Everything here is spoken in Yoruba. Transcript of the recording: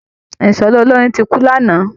Ìṣọ̀lá olórin ti kú lánàá